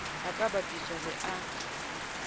a ka bapiswang le a